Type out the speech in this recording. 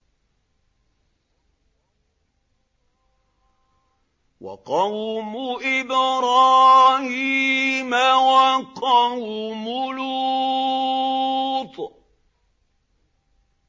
وَقَوْمُ إِبْرَاهِيمَ وَقَوْمُ لُوطٍ